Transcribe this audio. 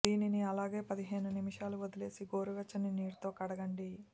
దీనిని అలానే పదిహేను నిమిషాలు వదిలేసి గోరు వెచ్చని నీటితో కడగండి